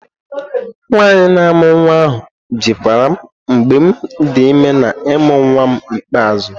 Nwanyị na-amụ nwa ahu jikwaram mgbem di ime na ịmụ nwam ikpeazụ.